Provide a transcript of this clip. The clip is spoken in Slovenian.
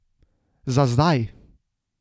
Za zdaj!